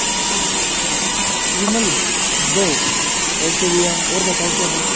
विमल दो ओ_के भैया और बताओ क्या दूं--